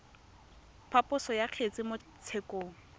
phaposo ya kgetse mo tshekong